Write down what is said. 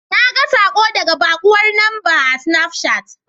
Naga saƙo daga baƙuwar lamba a sinafcat.